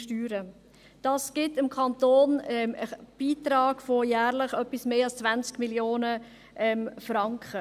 Dies gibt dem Kanton jährlich Beiträge von etwas mehr als 20 Mio. Franken.